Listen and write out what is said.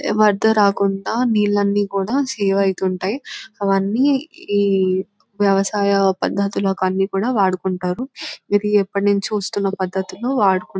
ఏ అడ్డు రాకుండా నీళ్లన్నీ కూడా సేవ్ అవుతుంటాయి అవన్నీ వ్యవసాయ పద్ధతులకి అన్నీ కూడా వాడుకుంటున్నారు ఇది ఎప్పటి నుంచో వస్తున్నా పద్ధతులు వాడుకు --